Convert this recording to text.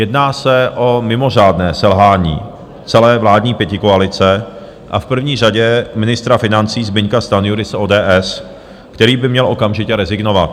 Jedná se o mimořádné selhání celé vládní pětikoalice a v první řadě ministra financí Zbyňka Stanjury z ODS, který by měl okamžitě rezignovat.